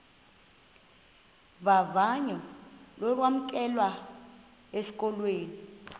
vavanyo lokwamkelwa esikolweni